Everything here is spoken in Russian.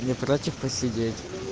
не против посидеть